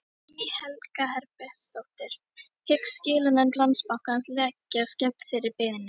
Guðný Helga Herbertsdóttir: Hyggst skilanefnd Landsbankans leggjast gegn þeirri beiðni?